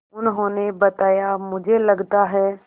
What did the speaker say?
उन्होंने बताया मुझे लगता है